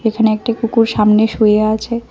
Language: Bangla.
এখানে একটি কুকুর সামনে শুয়ে আছে।